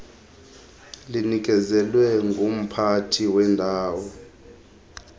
linikezelwe ngumphathi wendawo